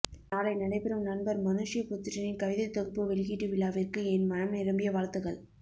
நாளை நடைபெறும் நண்பர் மனுஷ்யபுத்திரனின் கவிதைத் தொகுப்பு வெளியீட்டு விழாவிற்கு என் மனம் நிரம்பிய வாழ்த்துகள்